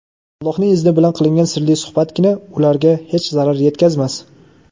Allohning izni bilan qilingan sirli suhbatgina ularga hech zarar yetkazmas.